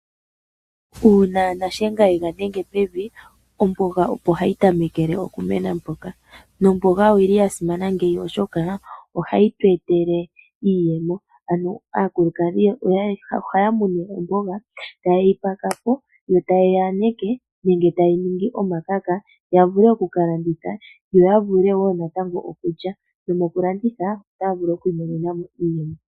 Uuna nashenga engadhenga pevi, ombonga opo hayi tamekele okumena poka, ombanga oyili yasimana ngeyi oshoka ohayi twetele iiyemo , ano aakulukadhi oha yamu ne ombonga ota yeyipakapo yo tayeyiyaneke ngenge ta yeyiningi omakaka yavule oku kalanditha yo yavule wo natango okulya nomukulanditha ota vulu okwimonenamo iiyemo.